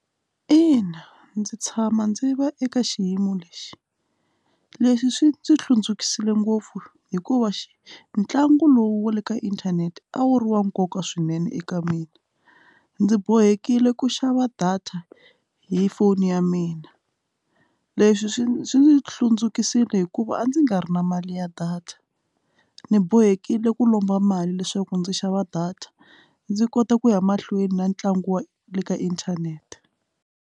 Ina, ndzi tshama ndzi va eka xiyimo lexi leswi swi ndzi hlundzukile ngopfu hikuva xi ntlangu lowu wa le ka inthanete a wu ri wa nkoka swinene eka mina ndzi bohekile ku xava data hi foni ya mina a leswi swi swi ndzi hlundzukile hikuva a ndzi nga ri na mali ya data ni bohekile ku lomba mali leswaku ndzi xava data ndzi kota ku ya mahlweni na ntlangu wa le ka inthanete.